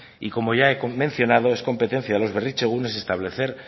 y como ya he mencionado es competencia de los berritzegunes establecer